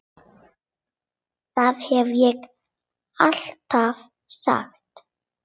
Það hef ég alltaf sagt.